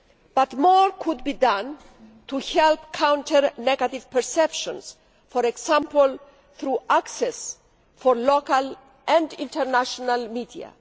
But more could be done to help counter negative perceptions, for example through access for local and international media.